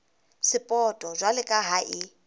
sapoto jwalo ka ha e